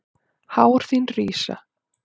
Hár þín rísa.